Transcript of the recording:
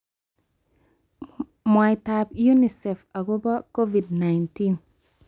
Mwaitab UNICEF akobo Covid-19